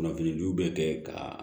Kunnafonijuw bɛ kɛ ka